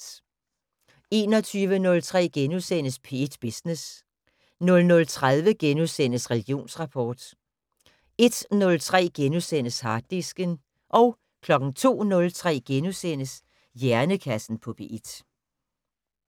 21:03: P1 Business * 00:30: Religionsrapport * 01:03: Harddisken * 02:03: Hjernekassen på P1 *